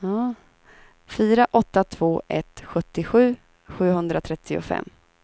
fyra åtta två ett sjuttiosju sjuhundratrettiofem